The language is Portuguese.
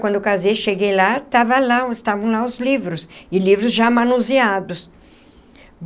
Quando eu casei e cheguei lá, estava lá estavam lá os livros... e livros já manuseados.